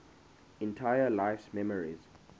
entire life's memories